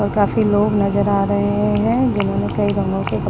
और काफी लोग नजर आ रहे हैं जिन्होंने कई रंगों के कप --